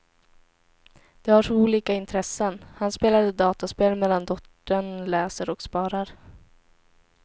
De har så olika intressen, han spelade dataspel medan dottern läser och sparar.